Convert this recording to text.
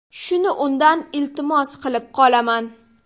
Shuni undan iltimos qilib qolaman.